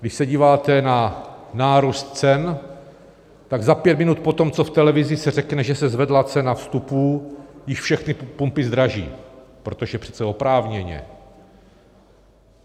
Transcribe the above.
Když se díváte na nárůst cen, tak za pět minut potom, co v televizi se řekne, že se zvedla cena vstupů, již všechny pumpy zdraží, protože přece oprávněně.